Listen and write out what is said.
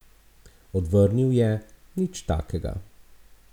Odvrnil je: 'Nič takega.